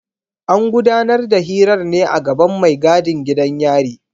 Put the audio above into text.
An gudanar da hirar ne a gaban mai gadin gidan yari.